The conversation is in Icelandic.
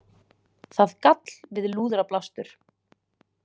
Það gall við lúðrablástur.